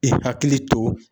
I hakili to